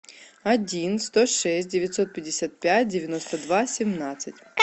один сто шесть девятьсот пятьдесят пять девяносто два семнадцать